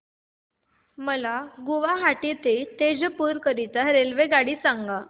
मला गुवाहाटी ते तेजपुर करीता रेल्वेगाडी सांगा